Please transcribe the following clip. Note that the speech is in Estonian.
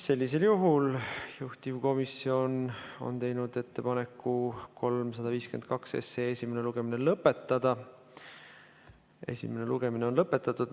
Sellisel juhul, juhtivkomisjon on teinud ettepaneku 352 esimene lugemine lõpetada ja esimene lugemine on lõpetatud.